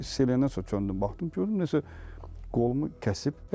Ağrı hiss eləyəndən sonra döndüm, baxdım, gördüm nəsə qolumu kəsib.